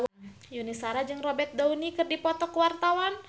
Yuni Shara jeung Robert Downey keur dipoto ku wartawan